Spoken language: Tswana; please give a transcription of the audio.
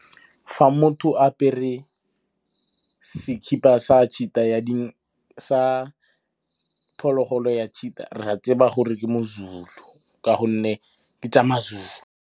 Fa motho apere sekhipa sa phologolo ya cheeta, ra tseba gore ke Mozulu ka gonne ke tsa Mazulu.